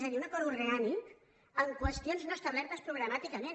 és a dir un acord orgànic en qüestions no establertes programàticament